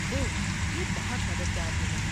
اوہ، یہ بہت مددگار ہو گا۔